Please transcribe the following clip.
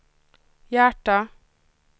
hjärter